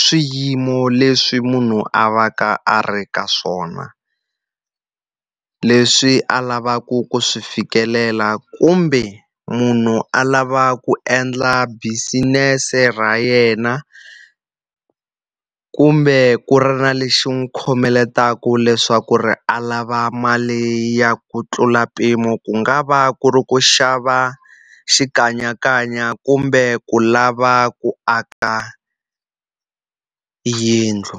swiyimo leswi munhu a va ka a ri ka swona, leswi a lavaka ku swi fikelela kumbe munhu a lava ku endla business-e ra yena. Kumbe ku ri na lexi n'wi khomeletaka leswaku leswaku ri a lava mali ya ku tlula mpimo, ku nga va ku ri ku xava xikanyakanya kumbe ku lava ku aka yindlu.